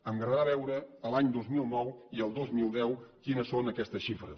m’agradarà veure a l’any dos mil nou i el dos mil deu quines són aquestes xifres